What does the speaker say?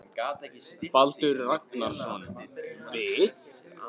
Baldur Ragnarsson: Við?